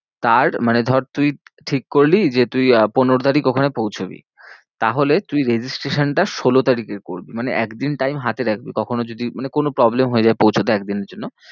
তার মানে ধর তুই ঠিক করলি যে তুই আহ পনেরো তারিখ ওখানে পৌছবি তাহলে তুই registration টা ষোলো তারিখে করবি মানে একদিন time হাতে রাখবি কখনো যদি মানে কোনো problem হয়ে যায় পৌঁছাতে এক দিনের জন্য।